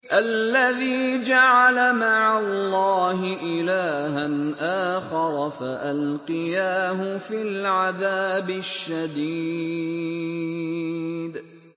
الَّذِي جَعَلَ مَعَ اللَّهِ إِلَٰهًا آخَرَ فَأَلْقِيَاهُ فِي الْعَذَابِ الشَّدِيدِ